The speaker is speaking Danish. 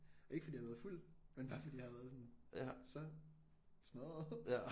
Og ikke fordi jeg har været fuld men bare fordi jeg har været sådan så smadret